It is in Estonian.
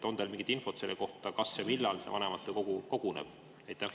On teil mingit infot selle kohta, kas ja millal vanematekogu koguneb?